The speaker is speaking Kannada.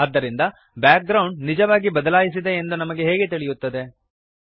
ಆದ್ದರಿಂದ ಬ್ಯಾಕ್ಗ್ರೌಂಡ್ ನಿಜವಾಗಿ ಬದಲಾಯಿಸಿದೆ ಎಂದು ನಮಗೆ ಹೇಗೆ ತಿಳಿಯುತ್ತದೆ160